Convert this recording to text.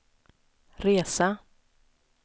resa